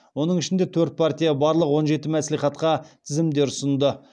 оның ішінде төрт партия барлық он жеті мәслихатқа тізімдер ұсынды